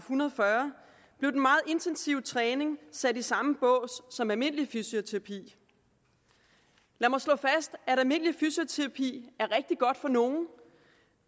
hundrede og fyrre blev den meget intensive træning sat i samme bås som almindelig fysioterapi lad mig slå fast at almindelig fysioterapi er rigtig godt for nogle